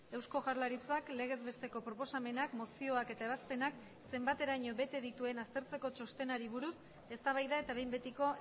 eusko jaurlaritzak legez besteko proposamenak mozioak eta ebazpenak zenbateraino bete dituen aztertzeko txostenari buruz eztabaida eta behin betiko